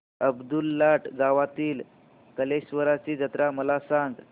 अब्दुललाट गावातील कलेश्वराची जत्रा मला सांग